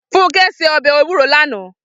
Funke sé òbè éwúró làná